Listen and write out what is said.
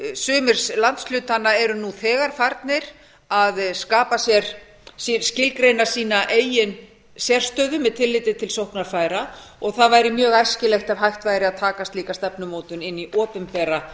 sumir landshlutanna eru nú þegar farnir að skapa sér skilgreina sína eign sérstöðu með tilliti til sóknarfæra og það væri mjög æskilegt ef hægt væri að taka slíka stefnumótun inn í opinbera